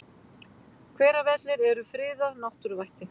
Hveravellir eru friðað náttúruvætti.